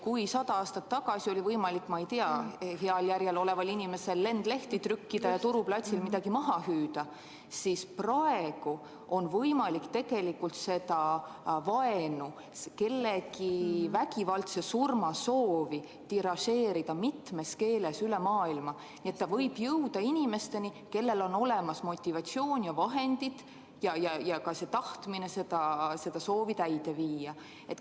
Kui sada aastat tagasi oli võimalik heal järjel oleval inimesel lendlehti trükkida ja turuplatsil midagi maha hüüda, siis praegu on võimalik seda vaenu, kellegi vägivaldse surma soovi tiražeerida mitmes keeles üle maailma, nii et see võib jõuda inimesteni, kellel on olemas motivatsioon, vahendid ja ka tahtmine see soov täide viia.